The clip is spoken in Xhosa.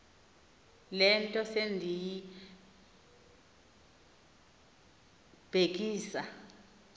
le nto sendiyibhekisa